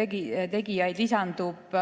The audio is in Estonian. tegijaid lisandub.